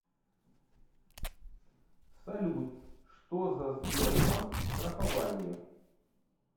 салют что за сбербанк страхование